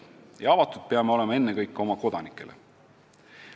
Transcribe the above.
Ja avatud peame olema ennekõike oma elanikele.